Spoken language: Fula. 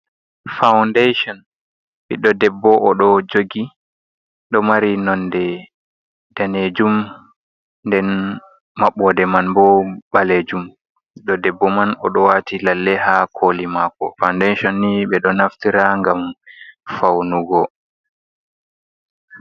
Foundation ɓiɗɗo debbo o ɗo jogi ɗo mari nonde danejum, den mabbode man bo ɓalejum ɓiɗɗo deɓɓo man oɗo wati lalle ha koli mako. foundation ni ɓeɗo naftira ngam faunugo.